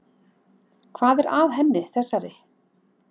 Hvað er að henni þessari?